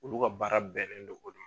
Olu ka baara bɛnnen do